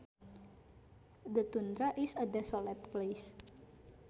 The tundra is a desolate place